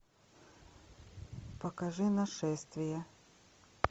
покажи нашествие